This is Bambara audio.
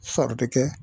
Fari bɛ kɛ